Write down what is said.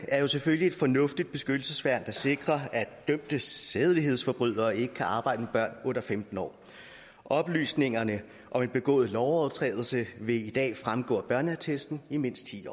er selvfølgelig et fornuftigt værn der sikrer at dømte sædelighedsforbrydere ikke kan arbejde med børn under femten år oplysningerne om en begået lovovertrædelse vil i dag fremgå af børneattesten i mindst ti